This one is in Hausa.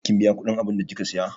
Kin biya kudin abunda kika Siya?